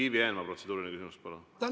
Ivi Eenmaa, protseduuriline küsimus, palun!